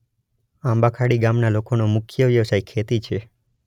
આંબાખાડી ગામના લોકોનો મુખ્ય વ્યવસાય ખેતી છે.